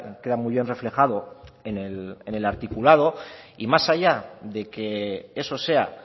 queda muy bien reflejado en el articulado y más allá de que eso sea